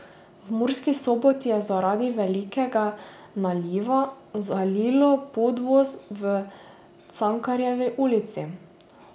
V Murski Soboti je zaradi velikega naliva, zalilo podvoz v Cankarjevi ulici.